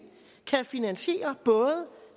kan finansiere både